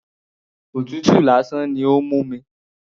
Òtútù lásán ni ó ń mú mi.